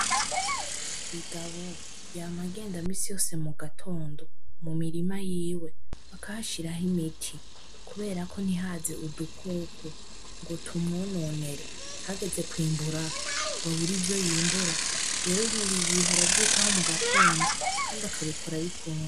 bigabo yama agenda minsi yose mugatondo mumirima yiwe akahashiraho imiti kuberako ntihaze udukoko ngo tumwononere hageze kwimbura ngo abure ivyo yimbura rero buri igihe aravyitaho mugatondo kandi akabikora abikunda